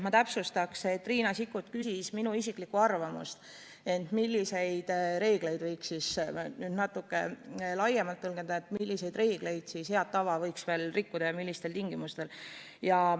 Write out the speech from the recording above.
Ma täpsustan, et Riina Sikkut küsis minu isiklikku arvamust, et milliseid reegleid võiks natuke laiemalt tõlgendada, millist head tava võiks veel rikkuda ja millistel tingimustel.